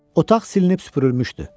Otaq silinib süpürülmüşdü.